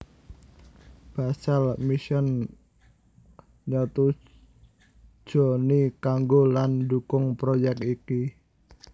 Basel Mission nyetujoni kanggo lan ndukung proyek iki